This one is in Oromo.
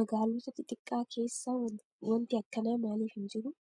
Magaalota xixiqqaa keessa wanti akkanaa maaliif hin jiruu?